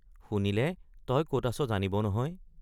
শুনিলে তই কত আছ জানিব নহয়।